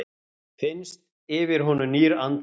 Finnst yfir honum nýr andblær.